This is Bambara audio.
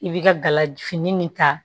I bi ka galafini nin ta